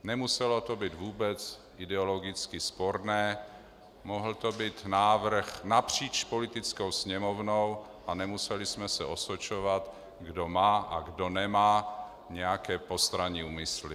Nemuselo to být vůbec ideologicky sporné, mohl to být návrh napříč Poslaneckou sněmovnou a nemuseli jsme se osočovat, kdo má a kdo nemá nějaké postranní úmysly.